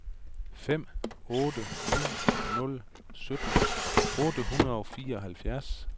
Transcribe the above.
fem otte ni nul sytten otte hundrede og fireoghalvfjerds